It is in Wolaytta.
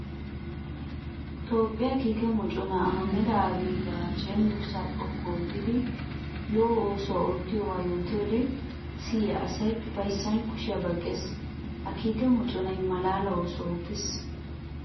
Toophphiya kiikke moconna Ahmeda Abiy ba cenggurssa xoqqu oottiddi lo'o oosuwa oottidooga yootiyoode siyiya asay ufayssan kushiya baqqees. Ha kiikke moconay malaala oosuwa oottes.